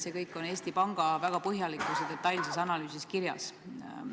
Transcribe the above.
See kõik on Eesti Panga väga põhjalikus ja detailses analüüsis kirjas.